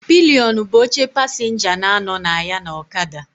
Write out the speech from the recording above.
Pilion bụ oche pasịnja na-anọ na ya na ọkada.